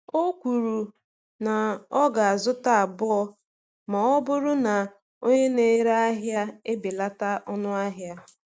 Ọ kwuru na ọ ga-azụta abụọ ma ọ bụrụ na onye na-ere ahịa ebelata ọnụ ahịa.